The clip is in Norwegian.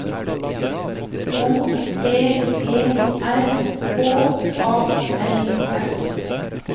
O T E R H A L S